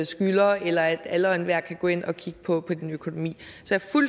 skylder eller at alle og enhver kan gå ind og kigge på din økonomi